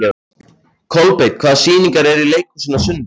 Kolbeinn, hvaða sýningar eru í leikhúsinu á sunnudaginn?